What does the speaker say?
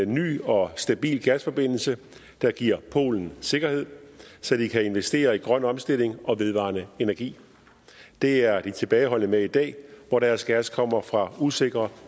ny og stabil gasforbindelse der giver polen sikkerhed så de kan investere i grøn omstilling og vedvarende energi det er de tilbageholdende med i dag hvor deres gas kommer fra usikre